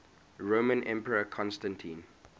roman emperor constantine